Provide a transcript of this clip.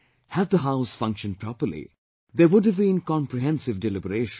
Had the House functioned properly, there would have been comprehensive deliberation